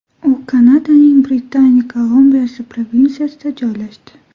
U Kanadaning Britaniya Kolumbiyasi provinsiyasida joylashdi.